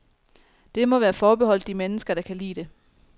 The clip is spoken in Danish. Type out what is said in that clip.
Det må være forbeholdt de mennesker, der kan lide det.